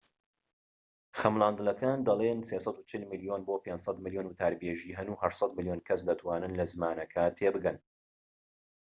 خەملاندنەکان دەڵێن ٣٤٠ ملیۆن بۆ ٥٠٠ ملیۆن وتاربێژی هەن و ٨٠٠ ملیۆن کەس دەتوانن لە زمانەکە تێبگەن